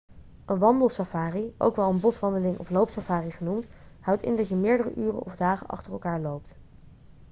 een wandelsafari ook wel een 'boswandeling' of 'loopsafari' genoemd houdt in dat je meerdere uren of dagen achter elkaar loopt